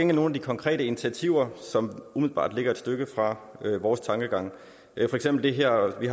nogle af de konkrete initiativer som umiddelbart ligger et stykke fra vores tankegang for eksempel har vi